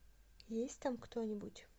есть там кто нибудь